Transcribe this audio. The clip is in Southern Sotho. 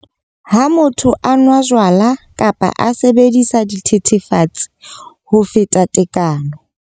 Ha motho a nwa jwala kapa a sebedisa dithethefatsi ho feta tekano.